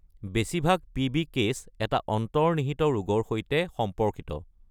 বেছিভাগ PB case এটা অন্তৰ্নিহিত ৰোগৰ সৈতে সম্পৰ্কিত।